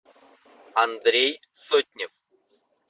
андрей сотнев